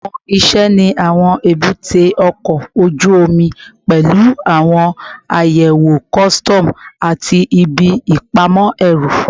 Awọn iṣẹ ni awọn ebute oko oju omi pẹlu awọn ayewo kọsitọmu ati ibi ipamọ ẹru